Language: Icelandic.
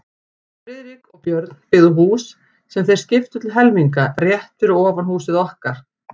Friðrik og Björn, byggðu hús, sem þeir skiptu til helminga, rétt fyrir ofan húsið okkar.